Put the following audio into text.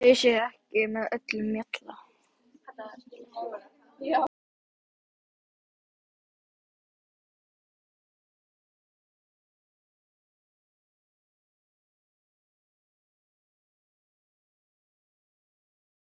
fyrir hluta Skorradals og tvo bæi í Andakíl.